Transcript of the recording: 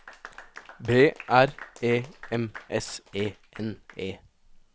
B R E M S E N E